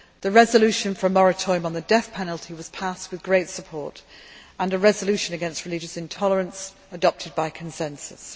The resolution in favour of a moratorium on the death penalty was passed with great support, and a resolution against religious intolerance was adopted by consensus.